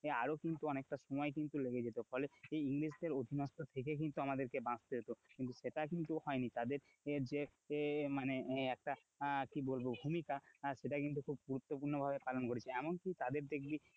আরো কিন্তু অনেকটা সময় কিন্তু লেগে যেত ফলে এই ইংরেজদের অধীনস্থ থেকে কিন্তু আমাদেরকে বাঁচতে হত, কিন্তু সেটা কিন্তু হয়নি তাদের যে মানে একটা কি বলবো ভূমিকা সেটা কিন্তু খুব গুরুত্বপূর্ণ ভাবে পালন করেছে, এমন কি তাদের দেখবি,